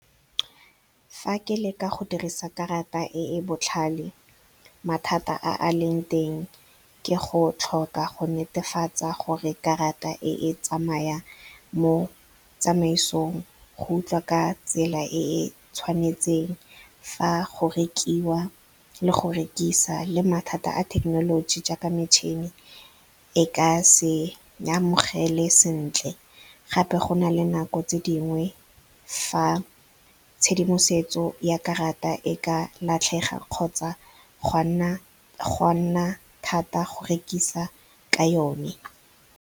Fa ke leka go dirisa karata e e botlhale mathata a leng teng ke go tlhoka go netefatsa gore karata e tsamaya mo tsamaisong go utlwa ka tsela e e tshwanetseng fa go rekiwa le go rekisa, le mathata a thekenoloji jaaka metšhini e ka se amogele sentle. Gape go nale nako tse dingwe fa tshedimosetso ya karata e ka latlhega kgotsa go a nna thata go rekisa ka yone.